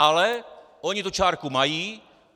Ale, oni tu čárku mají.